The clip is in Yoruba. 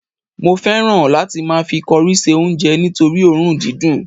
mo fẹràn láti ma fi cori se onje nitori orun didun